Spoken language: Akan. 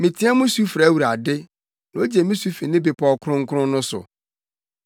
Meteɛ mu su frɛ Awurade, na ogye me so fi ne bepɔw kronkron no so.